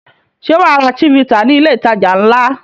Ṣé wà á ra Chivita ní ilé-ìtajà ńlá?